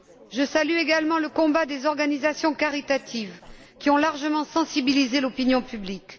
Je salue également le combat des organisations caritatives, qui ont largement sensibilisé l'opinion publique.